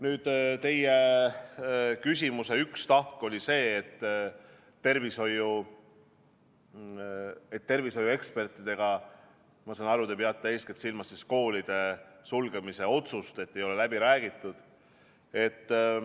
Nüüd teie küsimuse üks tahk oli see, et tervishoiu ekspertidega – ma saan aru, te peate eeskätt silmas koolide sulgemise otsust – ei ole läbi räägitud.